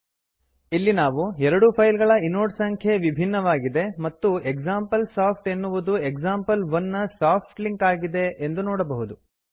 ಇಲ್ಲಿ ನಾವು ಎರಡೂ ಫೈಲ್ ಗಳ ಇನೋಡ್ ಸಂಖ್ಯೆ ವಿಭಿನ್ನವಾಗಿದೆ ಮತ್ತು ಎಕ್ಸಾಂಪಲ್ಸಾಫ್ಟ್ ಎನ್ನುವುದು ಎಕ್ಸಾಂಪಲ್1 ನ ಸಾಫ್ಟ್ ಲಿಂಕ್ ಆಗಿದೆ ಎಂದು ನೋಡಬಹುದು